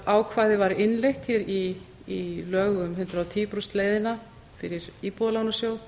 ákvæði var innleitt hér í lögum um hundrað og tíu prósenta leiðina fyrir íbúðalánasjóð